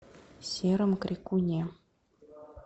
сером крикуне